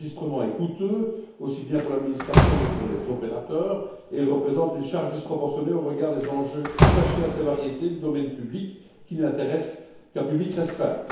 L'enregistrement est coûteux, aussi bien pour l'administration que pour les opérateurs, et il représente une charge disproportionnée au regard des enjeux attachés aux variétés du domaine public, qui n'intéressent qu'un public restreint.